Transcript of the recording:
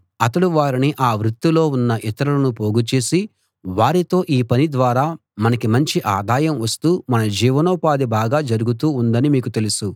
అతడు వారిని ఆ వృత్తిలో ఉన్న ఇతరులను పోగుచేసి వారితో ఈ పని ద్వారా మనకి మంచి ఆదాయం వస్తూ మన జీవనోపాధి బాగా జరుగుతూ ఉందని మీకు తెలుసు